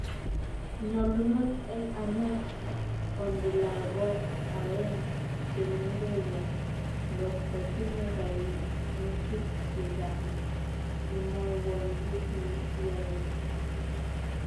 Nyolunot eng' ane onde lagok oeng' che mengechen, ngot ko tinye kaimutik che chang' imwowon kiit ne kiyaei